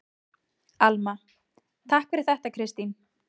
Alma: Takk fyrir þetta Kristín.